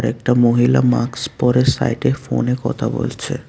একটা মহিলা মাক্স পরে সাইটে ফোনে কথা বলছে।